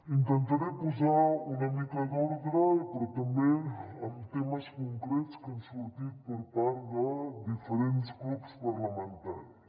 intentaré posar una mica d’ordre però també en temes concrets que han sortit per part de diferents grups parlamentaris